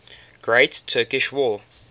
great turkish war